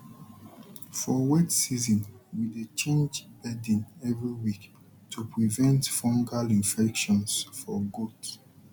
for wet season we dey change bedding every week to prevent fungal infections for gaot